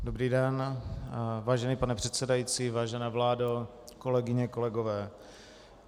Dobrý den, vážený pane předsedající, vážená vládo, kolegyně, kolegové.